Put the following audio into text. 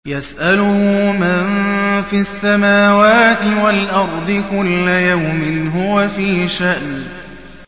يَسْأَلُهُ مَن فِي السَّمَاوَاتِ وَالْأَرْضِ ۚ كُلَّ يَوْمٍ هُوَ فِي شَأْنٍ